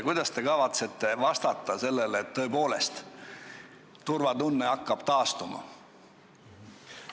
Kuidas te kavatsete garanteerida, et tõepoolest turvatunne hakkab taastuma?